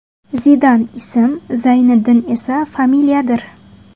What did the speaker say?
Zidan ism, Zayniddin esa familiyadir.